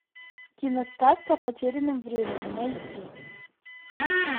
киносказка о потерянном времени найти